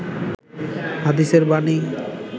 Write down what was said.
হাদিসের বাণী